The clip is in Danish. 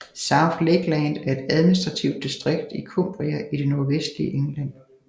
South Lakeland er et administrativt distrikt i Cumbria i det nordvestlige England